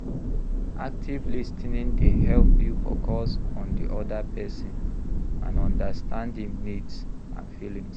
Active lis ten ing dey help you focus on di oda pesin and understand im needs and feelings.